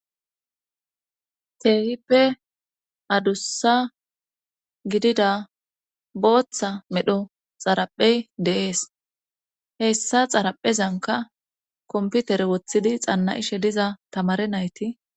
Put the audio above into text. Keehippe adussa gidida booththa medho xaraphey deees hessa xaraphezanka komputere woththidi xanna ishe diza tamare nayti